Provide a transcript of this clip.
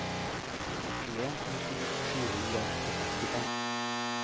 tjueen tusen sju hundre og sekstifem